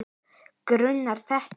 Grunað þetta?